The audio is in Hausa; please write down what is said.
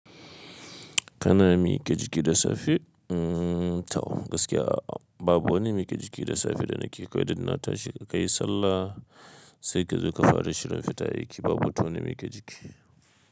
Kana miƙa jiki da safe? Tau gaskiya babu wani miƙa jiki da safe da nake yi. Kawai dai na tashi kayi sallah sai ka zo ka fara shirin fita aiki babu batun wa ni miƙa jiki.